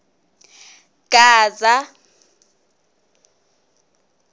gaza